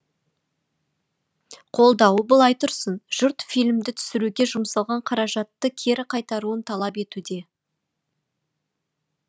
қолдауы былай тұрсын жұрт фильмді түсіруге жұмсалған қаражатты кері қайтаруын талап етуде